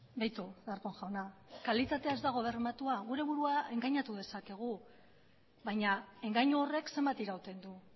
beitu darpón jauna kalitatea ez dago bermatua gure burua engainatu dezakegu baina engainu horrek zenbat irauten du